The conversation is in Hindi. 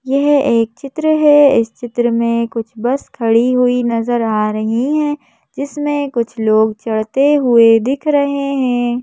यह एक चित्र है इस चित्र में कुछ बस खड़ी हुई नजर आ रही है जिसमें कुछ लोग चढ़ते हुए दिख रहे हैं।